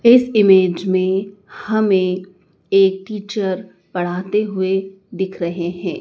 इस इमेज मे हमें एक टीचर पढ़ाते हुए दिख रहें हैं।